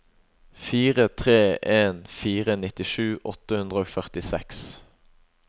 fire tre en fire nittisju åtte hundre og førtiseks